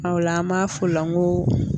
O la an b'a f'o la n ko